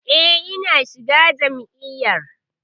E, na shiga jam'iyyar.